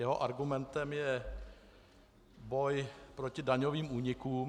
Jeho argumentem je boj proti daňovým únikům.